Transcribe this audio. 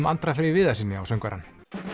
Andra Frey Viðarssyni á söngvarann